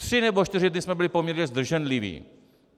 Tři nebo čtyři dny jsme byli poměrně zdrženliví.